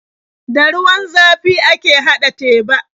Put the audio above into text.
Da ruwan zafi ake haɗa teba.